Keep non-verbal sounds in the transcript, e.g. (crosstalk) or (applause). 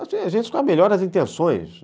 A gente (unintelligible) com a melhor das intenções